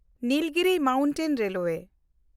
Nilgiri mountain railway